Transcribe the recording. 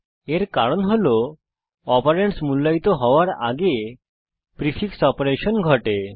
এর কারণ হল অপারেন্ডস মূল্যায়িত হওয়ার আগে প্রিফিক্স অপারেশন ঘটে